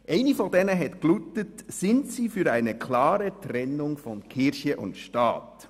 Eine dieser Fragen lautete: «Sind Sie für ein klare Trennung von Kirche und Staat?